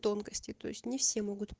тонкости то есть не все могут